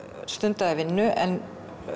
stundaði vinnu en